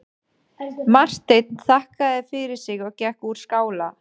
Marteinn þakkaði fyrir sig og gekk úr skála.